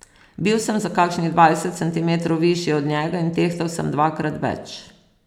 Bil sem za kakšnih dvajset centimetrov višji od njega in tehtal sem dvakrat več.